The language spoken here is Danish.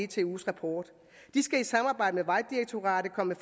dtu’s rapport de skal i samarbejde med vejdirektoratet komme